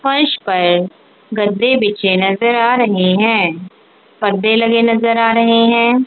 फर्श पर गद्दे बिछे नजर आ रहे हैं पर्दे लगे नजर आ रहे हैं।